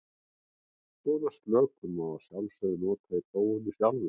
Svona slökun má að sjálfsögðu líka nota í prófinu sjálfu.